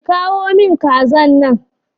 ki kawo min kazan nan.